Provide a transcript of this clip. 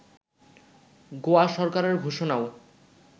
গোয়া সরকারের ঘোষণাও